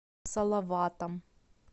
салаватом